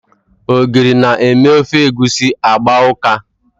Ogiri na-eme ofe egusi agba ụka.